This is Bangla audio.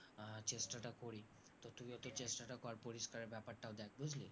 চেষ্টা টা করি তা তুইও একটু চেষ্টাটা কর পরিস্কারের ব্যাপারটাও দেখ বুজলি